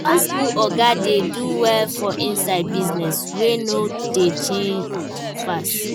Old school oga dey do well for inside business wey no dey change fast